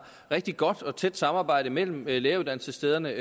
rigtig godt og tæt samarbejde mellem læreruddannelsesstederne